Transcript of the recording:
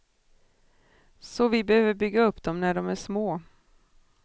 Så vi behöver bygga upp dem när de är små.